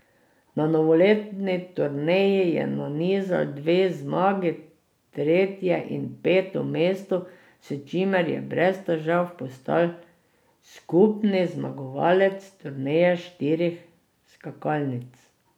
Na novoletni turneji je nanizal dve zmagi, tretje in peto mesto, s čimer je brez težav postal skupni zmagovalec turneje štirih skakalnic.